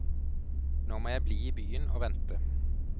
Nå må jeg bli i byen og vente.